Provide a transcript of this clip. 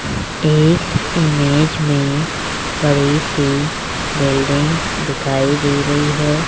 इस इमेज में बड़ी सी बिल्डिंग दिखाई दे रही है।